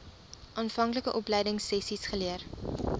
aanvanklike opleidingsessies geleer